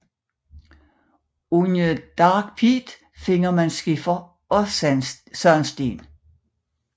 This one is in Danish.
Under Dark Peak finder man skifer og sandsten